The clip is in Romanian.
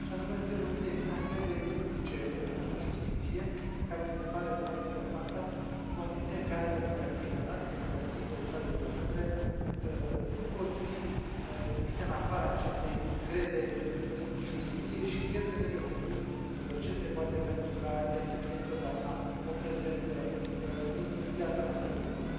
În primul rând, chestiunea încrederii publice în justiție, care mi se pare foarte importantă, în condițiile în care democrațiile noastre, democrațiile statelor membre, nu pot fi gândite în afara acestei încrederi în justiție și cred că trebuie făcut ce se poate pentru ca ea să fie întotdeauna o prezență în viața noastră publică.